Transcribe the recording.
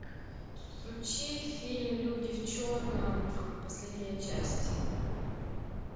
включи фильм люди в черном последняя часть